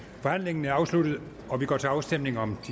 forhandlingen er afsluttet og vi går til afstemning om